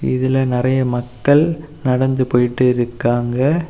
இதுல நறைய மக்கள் நடந்து போயிட்டுருக்காங்க.